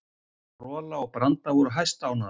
Rola og Branda voru hæstánægðar.